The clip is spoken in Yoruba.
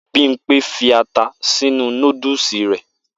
Bimpe fi ata sínú nódúsì rẹ.